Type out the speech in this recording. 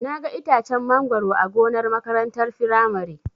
Naga itacen mangoro a gonar makarantar firamare.